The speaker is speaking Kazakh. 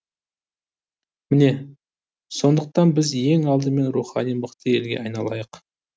міне сондықтан біз ең алдымен рухани мықты елге айналайық